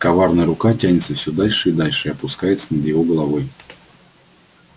коварная рука тянется все дальше и дальше и опускается над его головой